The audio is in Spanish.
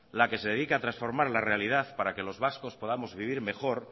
la que se dedica a transformar la realidad para que los vascos podamos vivir mejor